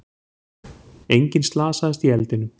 Enginn slasaðist í eldinum